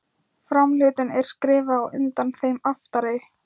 Framhlutinn er skrefi á undan þeim aftari.